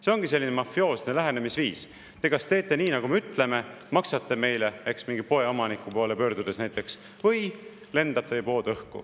See ongi selline mafioosne lähenemisviis: te kas teete nii, nagu me ütleme, maksate meile – mingi poeomaniku poole pöördutakse näiteks –, või lendab teie pood õhku.